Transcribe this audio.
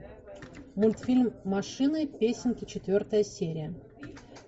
мультфильм машины песенки четвертая серия